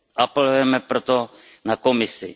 Apelujeme proto na Komisi.